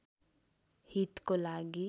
हितको लागि